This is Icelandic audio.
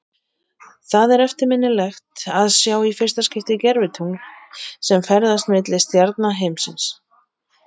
Það er eftirminnilegt að sjá í fyrsta skipti gervitungl sem ferðast milli stjarna himinsins.